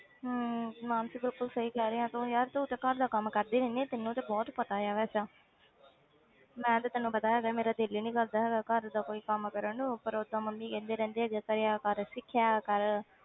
ਹਮ ਮਾਨਸੀ ਬਿਲਕੁੁਲ ਸਹੀ ਕਹਿ ਰਹੀ ਹੈ ਤੂੰ ਯਾਰ ਤੂੰ ਤੇ ਘਰ ਦਾ ਕੰਮ ਕਰਦੀ ਰਹਿੰਦੀ ਹੈ ਤੈਨੂੰ ਤੇ ਬਹੁਤ ਪਤਾ ਹੈ ਵੈਸੇ ਮੈਂ ਤਾਂ ਤੈਨੂੰ ਪਤਾ ਹੈਗਾ ਮੇਰਾ ਦਿਲ ਹੀ ਨੀ ਕਰਦਾ ਹੈਗਾ ਘਰ ਦਾ ਕੋਈ ਕੰਮ ਕਰਨ ਨੂੰ ਪਰ ਓਦਾਂ ਮੰਮੀ ਕਹਿੰਦੇ ਰਹਿੰਦੇ ਵੀ ਕਰਿਆ ਕਰ ਸਿੱਖਿਆ ਕਰ